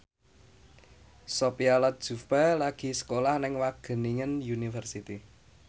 Sophia Latjuba lagi sekolah nang Wageningen University